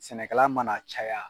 Sɛnɛkɛla mana caya